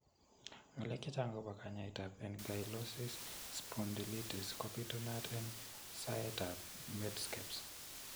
Ngalek chechaang' agobo kanyaayetab ankylosis spondylitis ko bitunat en soetab Medscape's .